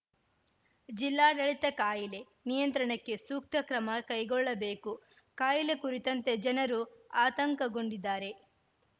ಜಿಲ್ಲಾಡಳಿತ ಕಾಯಿಲೆ ನಿಯಂತ್ರಣಕ್ಕೆ ಸೂಕ್ತ ಕ್ರಮ ಕೈಗೊಳ್ಳಬೇಕು ಕಾಯಿಲೆ ಕುರಿತಂತೆ ಜನರು ಆತಂಕಗೊಂಡಿದ್ದಾರೆ